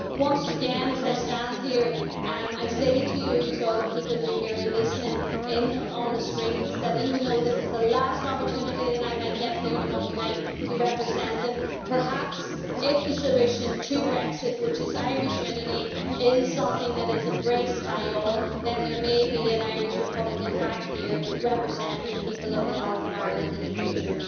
So, once again, as I stand here, I say to you, to all the people who are listening in on the screens, that even though this is the last opportunity that I might get here on a Monday night to represent them, perhaps if the solution to Brexit, which is Irish unity, is something that is embraced by all then there may be an Irish republican back here representing the people of the north of Ireland in the future.